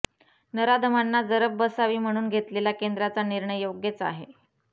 नराधमांना जरब बसावी म्हणून घेतलेला केंद्रचा निर्णय योग्यच आहे